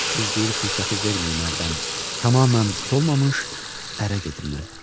Qız deyir: fürsəti verməyim əldən, tamamilə solmamış ərə gedim mən.